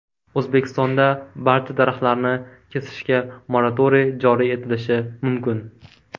O‘zbekistonda barcha daraxtlarni kesishga moratoriy joriy etilishi mumkin.